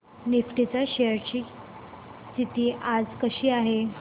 Nifty च्या shares ची स्थिती आज कशी आहे